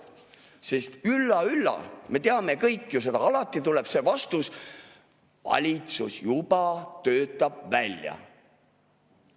Sest ülla‑ülla, me teame kõik ju seda, et alati tuleb see vastus: valitsus juba töötab välja.